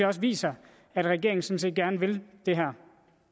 også viser at regeringen sådan set gerne vil det her